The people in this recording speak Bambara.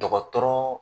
Dɔgɔtɔrɔ